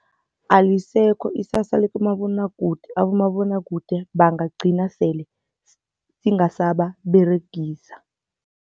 Alisekho isasa likumabonwakude, abomabonwakude bangagcina sele singasababeregisa.